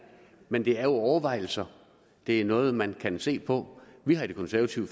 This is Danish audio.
men det er jo overvejelser det er noget man kan se på vi har i det konservative